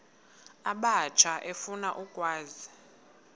abatsha efuna ukwazi